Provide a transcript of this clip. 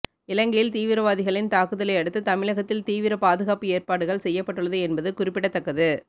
இலங்கையில் தீவிரவாதிகளின் தாக்குதலை அடுத்து தமிழகத்தில் தீவிர பாதுகாப்பு ஏற்பாடுகள் செய்யப்பட்டுள்ளது என்பது குறிப்பிடத்தக்கது